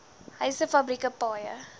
huise fabrieke paaie